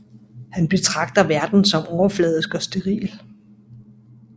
Han betragter verden som overfladisk og steril